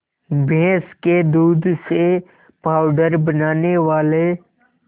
भैंस के दूध से पावडर बनाने वाले